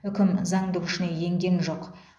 үкім заңды күшіне енген жоқ